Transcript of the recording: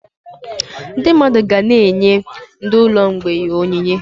Ndị mmadụ ga-na enye ndị ụlọ mgbei onyinye